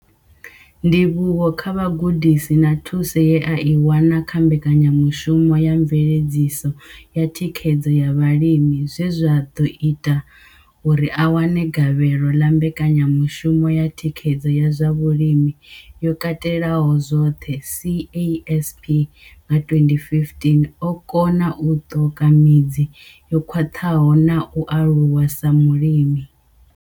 Ndivhuwo kha vhugudisi na thuso ye a i wana kha mbekanyamushumo ya veledziso na thikhedzo ya vhalimi zwe zwa ḓo ita uri a wane gavhelo ḽa mbekanyamushumo ya thikhedzo ya zwa vhulimi yo Katelaho zwoṱhe CASP nga 2015, o kona u ṱoka midzi yo khwaṱhaho na u aluwa sa mulimi.